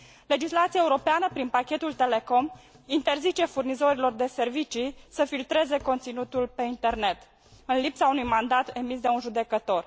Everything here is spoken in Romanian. Legislația europeană, prin pachetul Telecom, interzice furnizorilor de servicii să filtreze conținutul pe internet, în lipsa unui mandat emis de un judecător.